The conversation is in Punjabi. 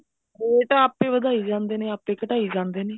rate ਤਾਂ ਆਪੇ ਵਧਾਈ ਜਾਂਦੇ ਨੇ ਆਪੇ ਘਟਾਈ ਜਾਂਦੇ ਨੇ